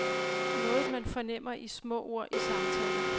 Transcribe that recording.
Noget man fornemmer i små ord i samtaler.